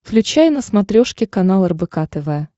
включай на смотрешке канал рбк тв